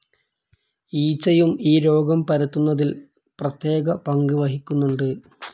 ഈച്ചയും ഈ രോഗം പരത്തുന്നതിൽ പ്രത്യേകപങ്ക് വഹിക്കുന്നുണ്ട്.